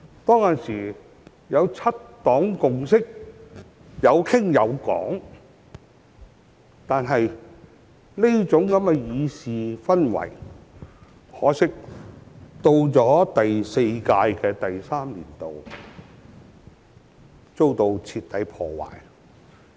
當時有七黨共識，大家有傾有講，但可惜，這種議事氛圍到了第四屆立法會的第三個年度卻遭到徹底破壞。